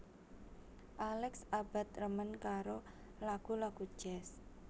Alex Abbad remen karo lagu lagu jazz